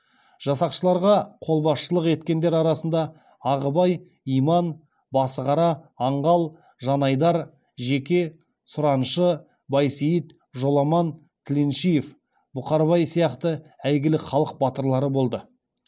жасақшыларға қолбасшылық еткендер арасында ағыбай иман басығара аңғал жанайдар жеке сураншы байсейіт жоламан тіленшиев бұқарбай сияқты әйгілі халық батырлары болды